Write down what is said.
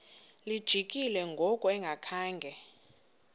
lijikile ngoku engakhanga